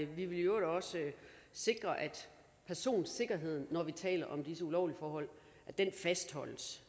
vi vil i øvrigt også sikre at personsikkerheden når vi taler om disse ulovlige forhold fastholdes